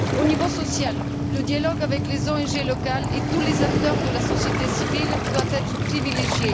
Au niveau social, le dialogue avec les ONG locales et tous les acteurs de la société civile doit être privilégié.